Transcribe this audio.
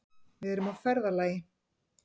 Við erum á ferðalagi.